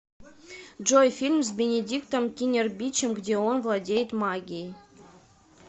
джой фильм с бинидиктом кинербичем где он владеет магией